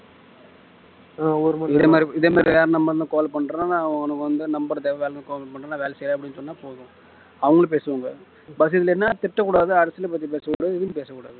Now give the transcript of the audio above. இதே மாதிரி இதே மாதிரி வேற number ல இருந்து call பண்றேன் நான் உனக்கு வந்து call தேவைன்னா call பண்றேன் நான் வேலை செய்றேன் அப்படின்னு சொன்னா போதும் அவங்களும் பேசுவாங்க but இதுல என்ன திட்டக்கூடாது அரசியல் பத்தி பேசக்கூடாது எதுவும் பேசக்கூடாது